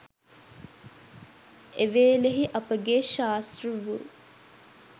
එවේලෙහි අපගේ ශාස්තෘ වූ